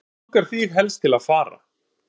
Hvert langar þig helst til að fara?